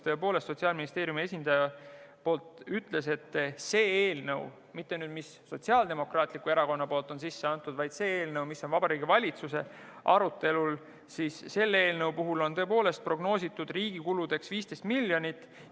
Sotsiaalministeeriumi esindaja ütles, et selle eelnõu puhul – mitte Sotsiaaldemokraatliku Erakonna eelnõu, vaid see eelnõu, mis on Vabariigi Valitsuse arutelul – on tõepoolest prognoositud riigi kuludeks 15 miljonit.